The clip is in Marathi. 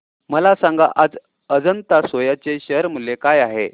मला सांगा आज अजंता सोया चे शेअर मूल्य काय आहे